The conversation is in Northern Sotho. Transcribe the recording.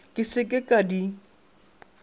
ke se ke ka di